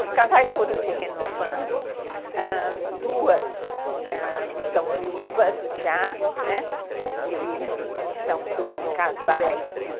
Os casais foram se renovando, ãh, duas estão viúvas já, e são dois casais...